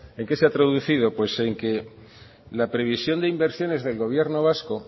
en qué se ha traducido pues en que la previsión de inversiones del gobierno vasco